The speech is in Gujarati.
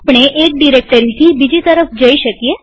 આપણે એક ડિરેક્ટરીથી બીજી તરફ જઈ શકીએ